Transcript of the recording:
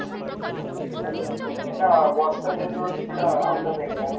ନା Boston University ଟା out of India ନା